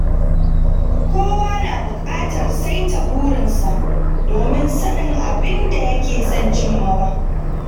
Kowa na buƙatar saita burinsa domin sanin abin da yake son cimmawa.